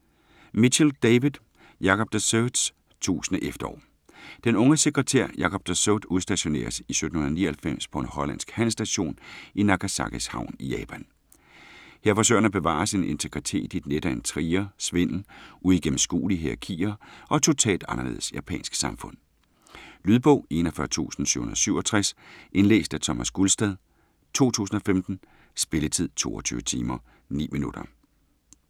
Mitchell, David: Jacob de Zoets tusind efterår Den unge sekretær Jacob de Zoet udstationeres i 1799 på en hollandsk handelsstation i Nagasakis havn i Japan. Her forsøger han at bevare sin integritet i et net af intriger, svindel, uigennemskuelige hierakier og et totalt anderledes japansk samfund. Lydbog 41767 Indlæst af Thomas Gulstad, 2015. Spilletid: 22 timer, 9 minutter.